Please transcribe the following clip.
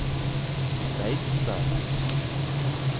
Beitstad